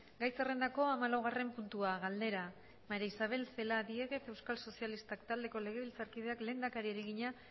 gai zerrendako hamalaugarren puntua galdera maría isabel celaá diéguez euskal sozialistak taldeko legebiltzarkideak lehendakariari egina